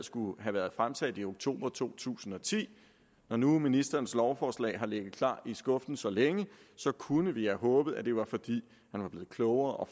skulle have været fremsat i oktober to tusind og ti når nu ministerens lovforslag har ligget klar i skuffen så længe kunne vi have håbet at det var fordi man var blevet klogere og